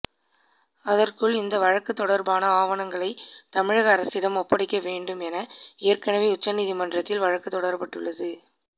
அதற்குள் இந்த வழக்குத் தொடா்பான ஆவணங்களை தமிழக அரசிடம் ஒப்படைக்க வேண்டும் என ஏற்கெனவே உச்சநீதிமன்றத்தில் வழக்குத் தொடரப்பட்டுள்ளது